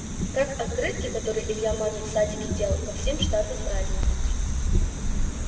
как открытки которые илья маме в садике делал ко всем штатным праздникам